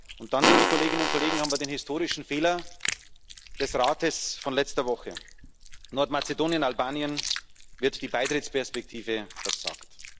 Und dann, liebe Kolleginnen und Kollegen, haben wir den historischen Fehler des Rates von letzter Woche Nordmazedonien und Albanien wird die Beitrittsperspektive versagt.